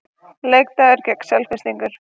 Leikdagur gegn Selfyssingum.